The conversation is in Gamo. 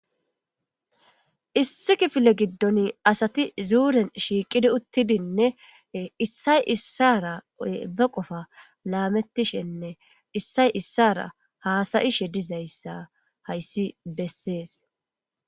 Issi kifile giddoni asati issippe shiiqidi zuuren uttidi issay issara beqofa laametishenne issay issara haasa'ishe dizaysa hayssi bessees.